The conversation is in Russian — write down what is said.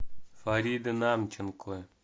фарида намченко